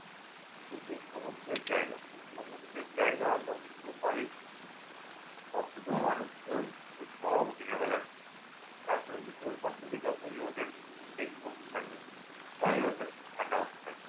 ওই যে সমুদ্রের জায়গা। সমুদ্রের জায়গা সবটুকু বালি সবকিছু মানুষকে ওই গরম দিনের বেলা। তারপরে দুপুরের পর থেকে যতই রোদের তেজ কমতে থাকবে বালিও শ্রেফ ঠাণ্ডা হতে থাকবে।